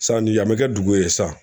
Sanni yan bɛ kɛ dugu ye sisan